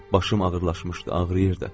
Başım ağırlaşmışdı, ağrıyırdı.